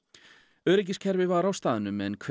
öryggiskerfi var á staðnum en kveikt